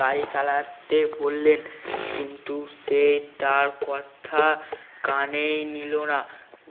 গাড়ি চালাতে বললেন কিন্তু সে তার কথা কানেই নিলো না